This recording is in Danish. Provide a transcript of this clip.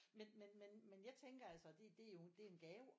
Men men men jeg tænker altså det det er jo det er jo en gave